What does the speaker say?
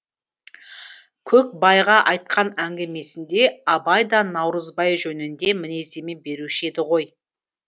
көкбайға айтқан әңгімесінде абай да наурызбай жөнінде мінездеме беруші еді ғой